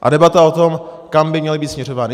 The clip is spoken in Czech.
A debata o tom, kam by měly být směřovány.